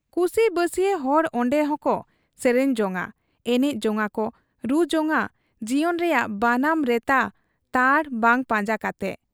ᱠᱩᱥᱤ ᱵᱟᱹᱥᱤᱭᱟᱹ ᱦᱚᱲ ᱚᱱᱰᱮ ᱦᱚᱸᱠᱚ ᱥᱮᱨᱮᱧ ᱡᱚᱝ ᱟ, ᱮᱱᱮᱡ ᱡᱚᱝ ᱟ, ᱨᱩ ᱡᱚᱝ ᱟ ᱡᱤᱭᱚᱱ ᱨᱮᱭᱟᱜ ᱵᱟᱱᱟᱢ ᱨᱮᱛᱟ ᱛᱟᱲ ᱵᱟᱝ ᱯᱟᱸᱡᱟ ᱠᱟᱛᱮ ᱾